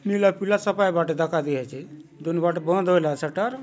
नीला पीला सपाय बांटे दखाय ली आचे दुनो बाटे बंद होयला सटर --